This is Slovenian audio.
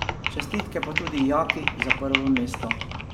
Čestitke pa tudi Jaki za prvo mesto.